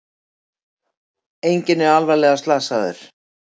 Enginn sé alvarlega slasaður